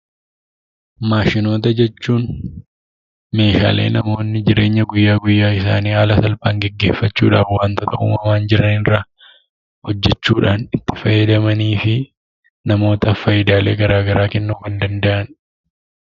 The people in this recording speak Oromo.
Maashinoota jechuun meeshaalee namni jireenya guyyaa guyyaa isaanii haala salphaan gaggeeffachuudhaan wantoota uumamaan jiran irraa hojjechuudhaan itti fayyadamanii fi namootaaf faayidaalee garaa garaa kennuu kan danda'anii dha.